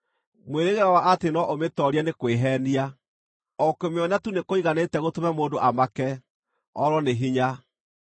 Mwĩrĩgĩrĩro wa atĩ no ũmĩtoorie nĩ kwĩheenia; o kũmĩona tu nĩkũiganĩte gũtũma mũndũ amake, orwo nĩ hinya.